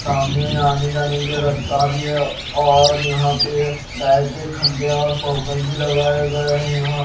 सामने आने जाने के लिए रस्ता भी है और यहां पे लाइट के खंभे और फोकस भी लगाए गए हैं यहां।